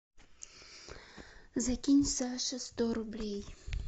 закинь саше сто рублей